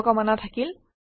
শুভকামনা থাকিল